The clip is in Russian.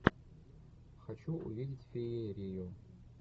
хочу увидеть феерию